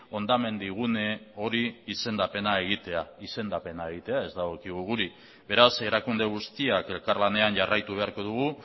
hondamendi gune hori izendapena egitea izendapena egitea ez dagokigu guri beraz erakunde guztiak elkarlanean jarraitu beharko dugu